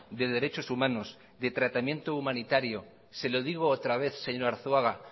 de derechos humanos de tratamiento humanitario se lo digo otra vez señor arzuaga